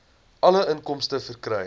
alle inkomste verkry